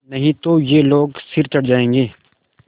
नहीं तो ये लोग सिर चढ़ जाऐंगे